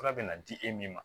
Fura bɛ na di e min ma